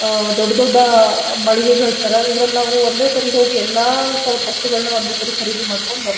ಆಹ್ ದೊಡ್ಡ್ ದೊಡ್ಡ ಅಹ್ ಮಳಿಗೆಗಳ್ತರ ಇದ್ರಲ್ ನಾವು ಒಂದೇ ಸರಿ ಹೋಗಿ ಎಲ್ಲ ತರದ್ ವಸ್ತುಗಳ್ನ ಒಂದೇ ಸರಿ ಖರೀದಿ ಮಾಡ್ಕೊಂಡ್ ಬರ್ಬೋ--